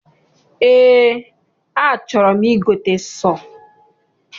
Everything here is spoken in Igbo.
Eé, achọrọ m igote sọọ.